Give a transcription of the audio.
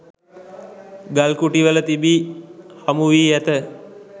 ගල්කුටිවල තිබී හමුවී ඇත.